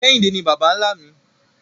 Kehinde ni baba-nla mi